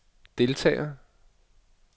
deltager